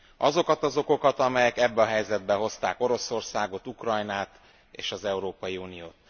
Azokat az okokat, amelyek ebbe a helyzetbe hozták Oroszországot, Ukrajnát és az Európai Uniót.